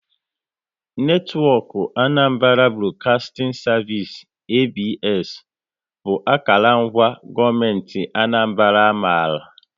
Netwọk Anambra Broadcasting Service (ABS) bụ akara ngwa gọọmenti Anambra a maara